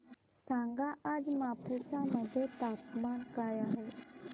सांगा आज मापुसा मध्ये तापमान काय आहे